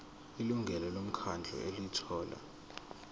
ilungu lomkhandlu elithola